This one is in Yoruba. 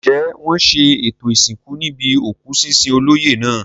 Ǹjẹ́ wọn ṣe ètò ìsìnkú níbi òkú sísin olóyè náà?